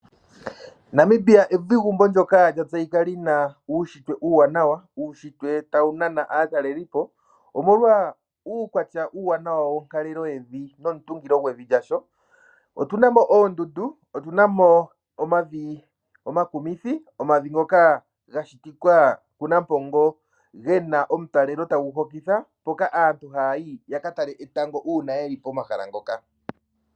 Namibia evigumbo ndyoka lya tseyika li na uunshitwe uuwanawa. Uunshitwe tawu nana aatalelipo, omolwa uukwatya uuwanawa wonkalelo yevi nomutungilo gwevi lyasho. Otu na mo oondundu, otu na mo omavi omakumithi, omavi ngoka ga shitika kuNampongo ge na omutalelo tagu hokitha, mpoka aantu haya yi ya ka tale etango uuna ye li pomahala mpoka.